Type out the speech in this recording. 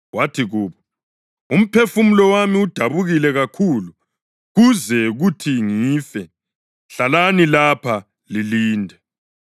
Wathi kubo, “Umphefumulo wami udabukile kakhulu kuze kuthi ngife. Hlalani lapha lilinde.”